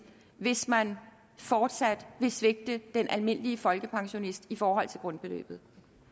hvis man fortsat vil svigte den almindelige folkepensionist i forhold til grundbeløbet